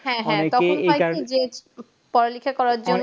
হ্যাঁ হ্যাঁ তখন হয় কি যে পড়ালেখা করার জন্য